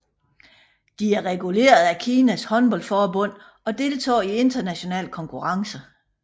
De er reguleret af Kinas håndboldforbund og deltager i internationale konkurrencer